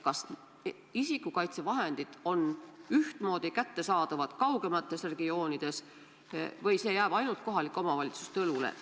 Kas isikukaitsevahendid on ühtmoodi kättesaadavad ka kaugemates regioonides või see jääb ainult kohalike omavalitsuste õlule?